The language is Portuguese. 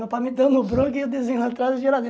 Meu pai me dando o bronca e eu desenhando atrás da geladeira.